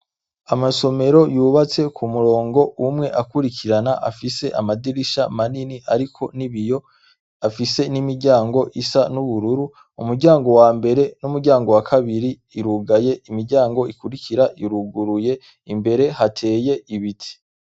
Amasomero yubatse ku murongo umwe akurikirana afise amadirisha manini ariko n' ibiyo afise n' imiryango isa n' ubururu umuryango wambere n' umuryango wa kabiri irugaye imiryango ikurikira iruguruye imbere hateye ibiti.